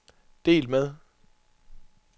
delt med